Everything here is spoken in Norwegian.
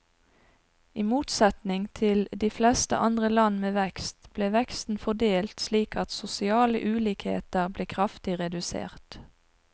I motsetning til de fleste andre land med vekst, ble veksten fordelt slik at sosiale ulikheter ble kraftig redusert.